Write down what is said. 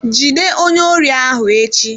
Jide onye órí ahụ echi!